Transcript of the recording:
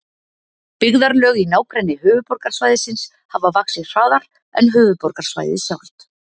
Byggðarlög í nágrenni höfuðborgarsvæðisins hafa vaxið hraðar en höfuðborgarsvæðið sjálft.